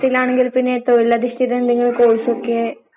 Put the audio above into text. നല്ല പഠിച്ചോലാ